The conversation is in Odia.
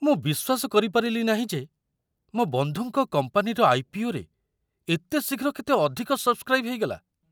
ମୁଁ ବିଶ୍ୱାସ କରିପାରିଲି ନାହିଁ ଯେ ମୋ ବନ୍ଧୁଙ୍କ କମ୍ପାନୀର ଆଇ.ପି.ଓ.ରେ ଏତେ ଶୀଘ୍ର କେତେ ଅଧିକ ସବ୍‌ସ୍କ୍ରାଇବ୍ ହେଇଗଲା।